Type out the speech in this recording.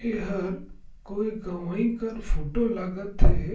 एहर कोई गवई कर फोटो लागत थे।